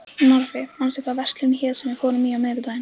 Narfi, manstu hvað verslunin hét sem við fórum í á miðvikudaginn?